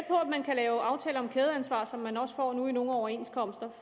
man kan lave aftaler om kædeansvar som man nu også får i nogle overenskomster